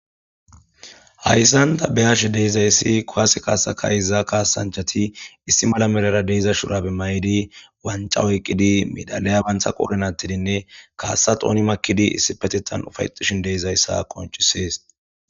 Hayssanta beyashe deezayssi kowaase kaasaka izaa kaasanchati issi mala merara deeza shurabe maydi wanca woyqqidi midalaya bantha qoornatidinne kaassa xooni makkidi issi petetan ufayxishin deezayssa konchisees